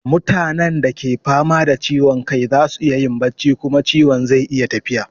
Mutanen da ke fama da ciwon kai za su iya yin bacci kuma ciwon zai iya tafiya.